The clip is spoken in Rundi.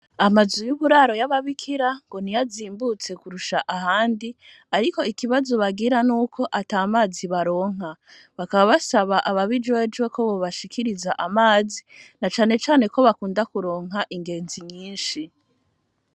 Amazu yuburaro yababikira ngo niyo azimbutse kurusha ahandi ariko ikibazo bagira ngo nuko atamazi baronka bakaba basaba ababijejwe ko bobashikiriza amazi nacane cane ko bakunda kuronka ingenzi nyishi.